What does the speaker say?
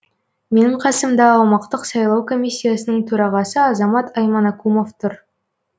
менің қасымда аумақтық сайлау комиссиясының төрағасы азамат айманакумов тұр